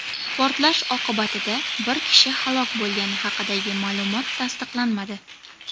Portlash oqibatida bir kishi halok bo‘lgani haqidagi ma’lumot tasdiqlanmadi.